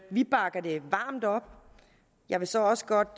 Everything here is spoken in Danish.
vi bakker det varmt op jeg vil så også godt